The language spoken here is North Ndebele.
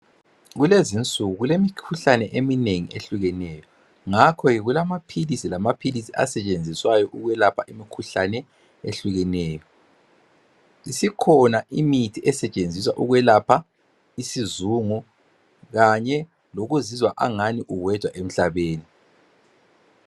Kulezi insuku kulemikhuhlane eminengi ehlukeneyo. ngakho kulamaphilisi lamaphilisi asetshenziswa ukwelapha imikhuhlane ehlukeneyo. Kukhona imithi yokwelapha isizungu. Kanye lokuzizwa angathi uwedwa emhlabeni.